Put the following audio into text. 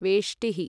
वेष्टिः